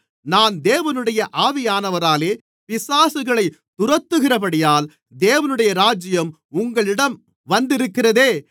நான் தேவனுடைய ஆவியானவராலே பிசாசுகளைத் துரத்துகிறபடியால் தேவனுடைய ராஜ்யம் உங்களிடம் வந்திருக்கிறதே